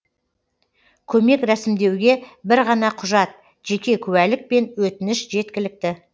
көмек рәсімдеуге бір ғана құжат жеке куәлік пен өтініш жеткілікті